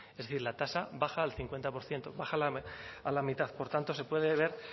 es decir la tasa baja al cincuenta por ciento baja a la mitad por tanto se puede ver